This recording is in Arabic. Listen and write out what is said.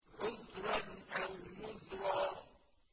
عُذْرًا أَوْ نُذْرًا